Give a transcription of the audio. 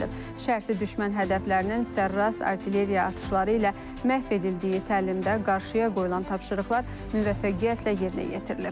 Şərti düşmən hədəflərinin sərrast artilleriya atışları ilə məhv edildiyi təlimdə qarşıya qoyulan tapşırıqlar müvəffəqiyyətlə yerinə yetirilib.